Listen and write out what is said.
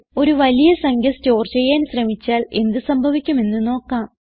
ഒരു വലിയ സംഖ്യ സ്റ്റോർ ചെയ്യാൻ ശ്രമിച്ചാൽ എന്ത് സംഭവിക്കുമെന്ന് നോക്കാം